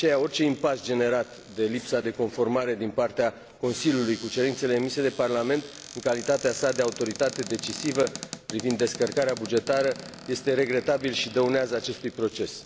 De aceea, orice impas generat de lipsa de conformare din partea Consiliului cu cerințele emise de Parlament, în calitatea sa de autoritate decisivă privind descărcarea de gestiune bugetară, este regretabil și dăunează acestui proces.